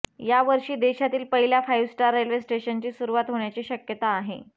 या वर्षी देशातील पहिल्या फाइव्ह स्टार रेल्वे स्टेशनची सुरुवात होण्याची शक्यता आहे